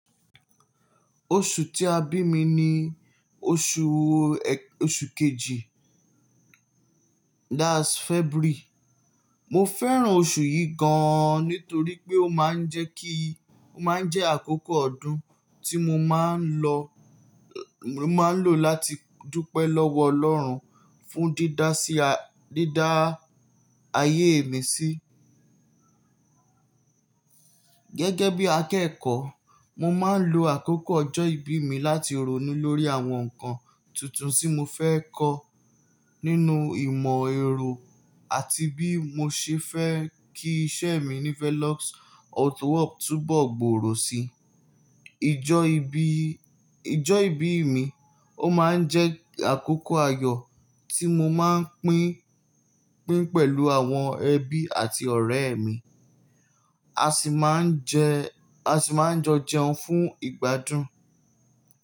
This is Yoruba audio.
Oṣù tí a bí mi ni oṣù kejì, that's February. Mo fẹ́ràn oṣù yìí gan-an nítorí pé ó máa ń jẹ́ kí, ó máa ń jẹ́ àkókò ọdún tí mo máa ń lọ, mo máa ń lò láti dúpẹ́ lọ́wọ́ ọlọ́run fún dídá sí, dídá ayé mi sí. Gẹ́gẹ́ bí akẹ́kọ̀ọ́, mo máa ń lo àkókò ọjọ́ ìbí mi láti ronú lórí àwọn nǹkan tuntun tí mo fẹ́ kọ́ nínú ìmọ̀ ẹro àti bí mo ṣe fẹ́ kí iṣẹ́ mi ní Felix Auto Hub túbọ̀ gbòòrò si. Ìjọ ìbí, ìjọ ìbí mi, ó máa ń jẹ́ àkókò ayọ̀ tí mo máa ń pín, pín pẹ̀lú àwọn ẹbí àti ọ̀rẹ́ mi. A sì máa ń jẹ, a sì máa ń jọ jẹun fún ìgbádùn.